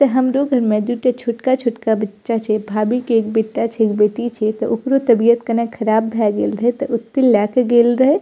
ते हमरो घर में दू टा छोटका-छोटका बच्चा छै भाभी के एक बेटा छै एक बेटी छै ते ओकरो तबियत कने खराब भाय गेल रहे ते ओय ते लाय के गेल रहे।